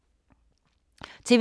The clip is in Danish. TV 2